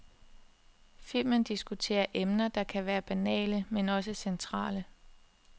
Filmen diskuterer emner, der kan være banale, men også centrale.